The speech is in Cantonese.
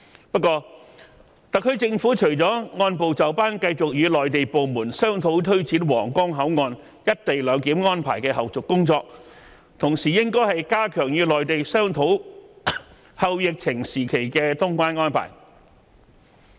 不過，特區政府除了按部就班繼續與內地部門商討推展皇崗口岸"一地兩檢"安排的後續工作，同時應該加緊與內地商討"後疫情時期"的通關安排。